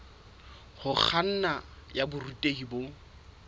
ho kganna ya borutehi bo